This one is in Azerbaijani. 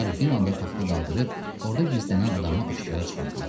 Onlar bir anda taxtı qaldırıb orda gizlənən adamı aşkara çıxardılar.